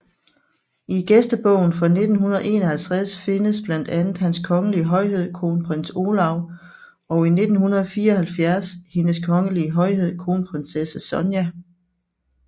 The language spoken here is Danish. I gæstebogen fra 1951 findes blandt andet Hans kongelige højhed Kronprins Olav og i 1974 Hendes kongelige højhed Kronprinsesse Sonja